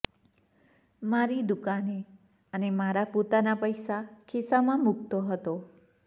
મારી દુકાને અને મારા પોતાના પૈસા ખિસ્સામાં મુકતો હતો